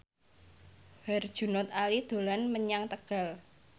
Herjunot Ali dolan menyang Tegal